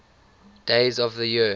days of the year